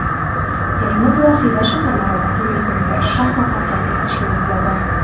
Termiz va Xiva shaharlarida "Turizm va shaxmat haftaligi" tashkil etiladi.